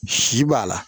Si b'a la